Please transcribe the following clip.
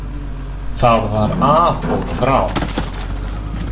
Það var af og frá.